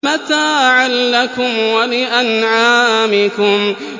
مَتَاعًا لَّكُمْ وَلِأَنْعَامِكُمْ